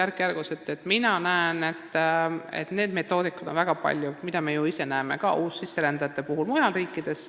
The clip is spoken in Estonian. Keeleõppe metoodikaid on väga palju – me näeme seda ju ka uussisserändajate puhul teistes riikides.